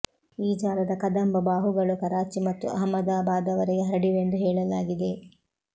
ಈ ಜಾಲದ ಕದಂಬ ಬಾಹುಗಳು ಕರಾಚಿ ಮತ್ತು ಅಹಮ್ಮದಾಬಾದವರೆಗೆ ಹರಡಿವೆಂದು ಹೇಳಲಾಗಿದೆ